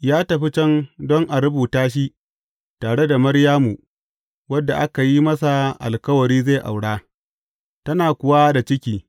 Ya tafi can don a rubuta shi tare da Maryamu, wadda aka yi masa alkawari zai aura, tana kuwa da ciki.